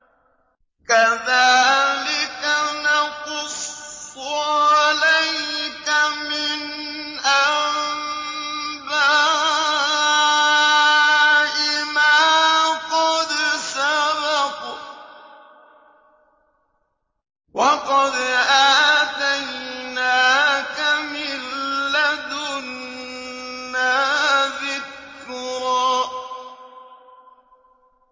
كَذَٰلِكَ نَقُصُّ عَلَيْكَ مِنْ أَنبَاءِ مَا قَدْ سَبَقَ ۚ وَقَدْ آتَيْنَاكَ مِن لَّدُنَّا ذِكْرًا